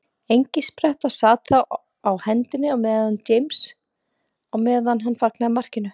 Engispretta sat þá á hendinni á James á meðan hann fagnaði markinu.